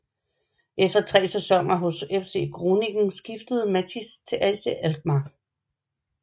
Efter 3 sæsoner hos FC Groningen skifter Matthijs til AZ Alkmaar